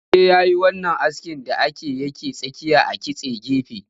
Ya je yayi wannan askin da ake yake tsakiya a kitse gefe